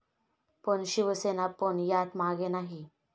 पण शिवसेना पण यात मागे नाही.